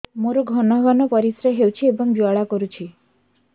ମୋର ଘନ ଘନ ପରିଶ୍ରା ହେଉଛି ଏବଂ ଜ୍ୱାଳା କରୁଛି